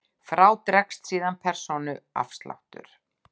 Frá dregst síðan persónuafsláttur.